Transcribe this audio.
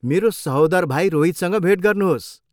मेरो सहोदर भाइ रोहितसँग भेट गर्नुहोस्।